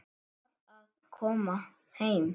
Var að koma heim.